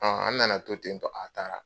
Ɔ an nana to ten tɛ, a taara!